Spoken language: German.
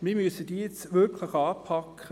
Wir müssen diese nun wirklich anpacken.